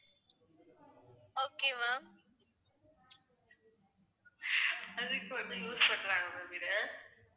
அதுக்கு வந்து use பண்றாங்க ma'am இதை